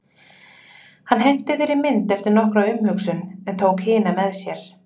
Hann henti þeirri mynd eftir nokkra umhugsun en tók hina með sér.